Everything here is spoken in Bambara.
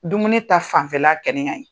Dumuni ta fanfɛla kɛni